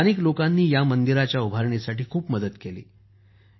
स्थानिक लोकांनी ह्या मंदिराच्या उभारणीसाठी खूप मदत केली आहे